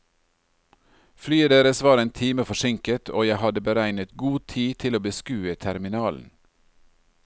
Flyet deres var en time forsinket, og jeg hadde beregnet god tid til å beskue terminalen.